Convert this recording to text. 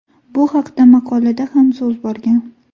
Bu haqda maqolada ham so‘z borgan.